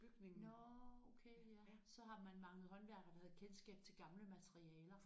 Nåh okay ja så har man manglet håndværkere der havde kendskab til gamle materialer